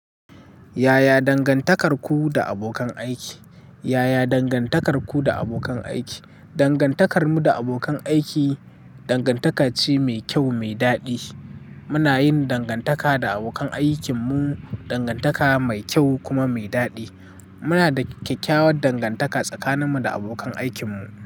Yaya dangantakarku da abokan aiki? Yaya dangantakarku da abokan aiki? Dangantakarmu da abokan aiki dangantaka ce mai kyau, mai daɗi. Muna yin dangantaka da abokan aikinmu, dangantaka mai kyau kuma mai daɗi. Muna da kyakkyawar dangantaka tsakaninmu da abokan aikinmu.